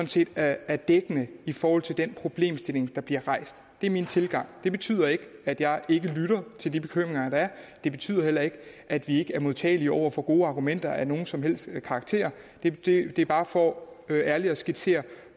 set er dækkende i forhold til den problemstilling der bliver rejst det er min tilgang det betyder ikke at jeg ikke lytter til de bekymringer der er det betyder heller ikke at vi ikke er modtagelig over for gode argumenter af nogen som helst karakter det er bare for ærligt at skitsere